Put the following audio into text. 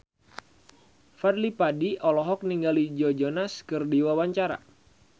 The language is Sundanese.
Fadly Padi olohok ningali Joe Jonas keur diwawancara